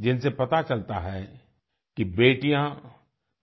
जिनसे पता चलता है कि बेटियाँ